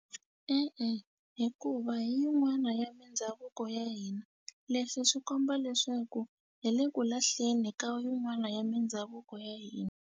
E-e hikuva hi yin'wana ya mindhavuko ya hina leswi swi komba leswaku hi le ku lahleni ka yin'wana ya mindhavuko ya hina.